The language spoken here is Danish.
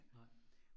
Nej